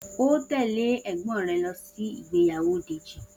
O óò tè̩lé è̩gbó̩n re̩ lo̩ sí ìgbéyàwó Dèjì!